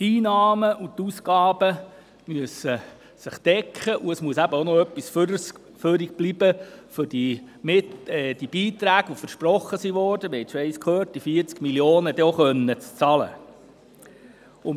Die Einnahmen und die Ausgaben müssen sich decken, und es muss noch etwas übrig bleiben, um die versprochenen Beiträge, also die 40 Mio. Franken, dann auch bezahlen zu können.